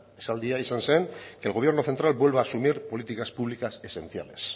esaldia izan zen que el gobierno central vuelva a asumir políticas públicas esenciales